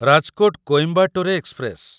Rajkot Coimbatore express